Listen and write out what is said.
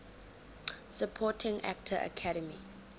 supporting actor academy